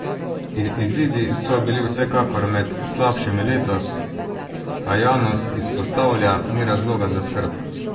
Izidi so bili vsekakor med slabšimi letos, a Janus izpostavlja: "Ni razloga za skrb.